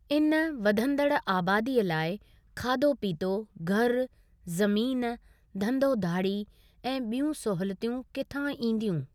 इन वधंदड़ु आबादीअ लाइ खाधो पीतो, घरु, ज़मीन, धंधो धाड़ी ऐं ॿियूं सहूलियतूं किथां ईदियूं?